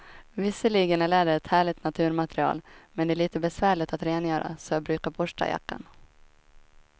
Visserligen är läder ett härligt naturmaterial, men det är lite besvärligt att rengöra, så jag brukar borsta jackan.